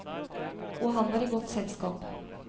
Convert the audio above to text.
Og han var i godt selskap.